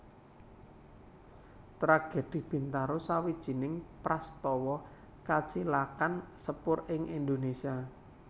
Tragedi Bintaro sawijining prastawa kacilakan sepur ing Indonésia